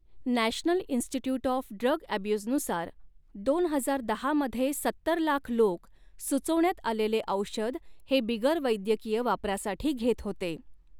National Institute of Drug अब्युजनुसार, दोन हजार दहा मध्ये सत्तर लाख लोक सुचवण्यात आलेले औषध हे बिगरवैद्यकीय वापरासाठी घेत होते.